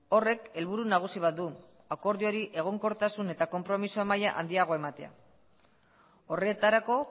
horrek helburu nagusi bat du akordioari egonkortasun eta konpromisoa maila handiagoa ematea horretarako